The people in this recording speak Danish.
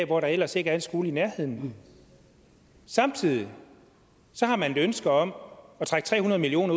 hvor der ellers ikke er en skole i nærheden samtidig har man et ønske om at trække tre hundrede million